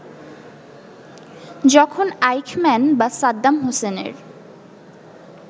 যখন আইখম্যান বা সাদ্দাম হোসেনের